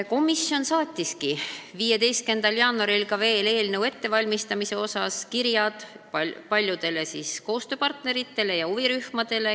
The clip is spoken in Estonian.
Komisjon saatis 15. jaanuaril eelnõu ettevalmistamise käigus veel ka kirja paljudele koostööpartneritele ja huvirühmadele.